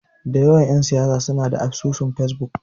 Da yawan ƴan siyasa suna da asusun Fesbuk.